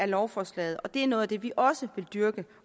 lovforslaget og det er noget af det vi også vil dyrke